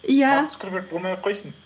иә марк цукерберг болмай ақ қойсын